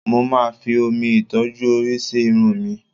Mo máa fi omi ìtọ́jú orí sí irun mi